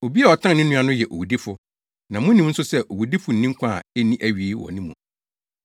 Obi a ɔtan ne nua no yɛ owudifo na munim nso sɛ owudifo nni nkwa a enni awiei wɔ ne mu.